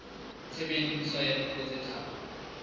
tshebediso ya dipuo tse tharo